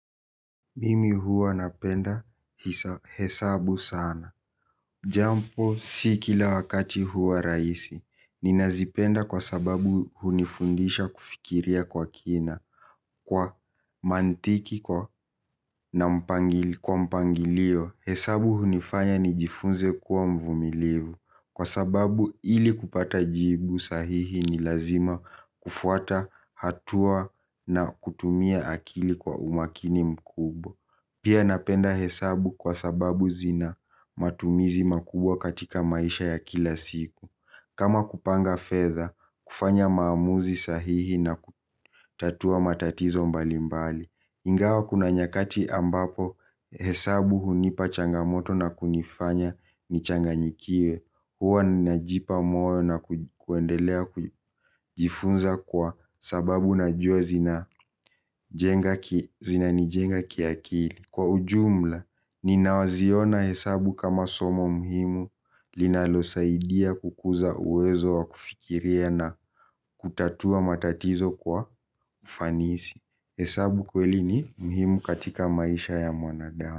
Mimi huwa napenda hesabu sana japo si kila wakati huwa rahisi. Nina zipenda kwa sababu hunifundisha kufikiria kwa kina. Kwa mantiki kwa mpangilio hesabu hunifanya ni jifunze kwa mvumilivu. Kwa sababu ili kupata jibu sahihi ni lazima kufuata hatua na kutumia akili kwa umakini mkubwa. Pia napenda hesabu kwa sababu zina matumizi makubwa katika maisha ya kila siku kama kupanga fedha, kufanya maamuzi sahihi na kutatua matatizo mbali mbali ingawa kuna nyakati ambapo hesabu hunipa changamoto na kunifanya nichanganyikiwe huwa ninajipa moyo na kuendelea kujifunza kwa sababu najua zina zinanijenga kiakili, kwa ujumla ninaziona hesabu kama somo muhimu linalosaidia kukuza uwezo wa kufikiria na kutatua matatizo wa ufanisi. Hesabu kweli ni muhimu katika maisha ya mwanadamu.